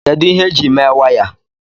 kedu ihe eji mee waya